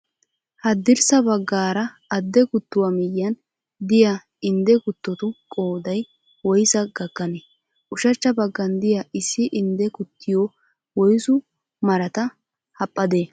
Haddirssa baggaara adde kuttuwaa miyyiyaan diyaa indde kuttotu qoodayi woyisaa gakkanee? Ushachcha baggan diyaa issi indde kuttiyaa woyisu marata haphphadee?